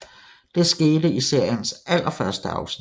Det skete i seriens allerførste afsnit